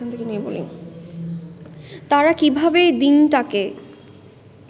তারা কীভাবে এই দিনটাকে